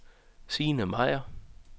Signe Meier